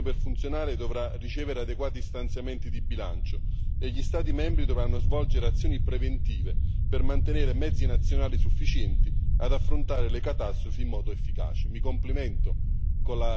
Va da sé che il meccanismo per funzionare dovrà ricevere adeguati stanziamenti di bilancio e gli Stati membri dovranno svolgere azioni preventive per mantenere mezzi nazionali sufficienti ad affrontare le catastrofi in modo efficace.